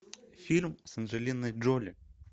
фильм с анджелиной джоли